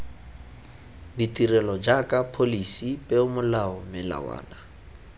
ditirelo jaaka pholisi peomolao melawana